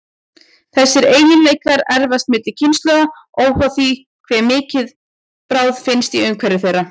Þessir eiginleikar erfast milli kynslóða, óháð því hve mikil bráð finnst í umhverfi þeirra.